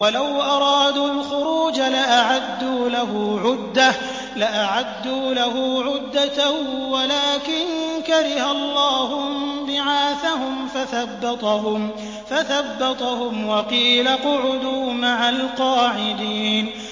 ۞ وَلَوْ أَرَادُوا الْخُرُوجَ لَأَعَدُّوا لَهُ عُدَّةً وَلَٰكِن كَرِهَ اللَّهُ انبِعَاثَهُمْ فَثَبَّطَهُمْ وَقِيلَ اقْعُدُوا مَعَ الْقَاعِدِينَ